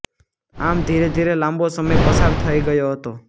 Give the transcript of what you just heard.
આમ ધીરે ધીરે લાંબો સમય પસાર થઇ ગયો હતો